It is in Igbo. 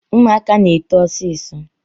Ụmụaka na-eto ọsịsọ